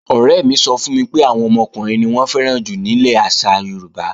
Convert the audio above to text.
Ọ̀rẹ́ mi sọ fún mi pé, àwọn ọmọkùnrin ni wọ́n fẹ́ràn jù nílẹ̀ àṣà Yorùbá